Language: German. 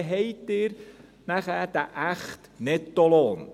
Dann haben Sie den echten Nettolohn.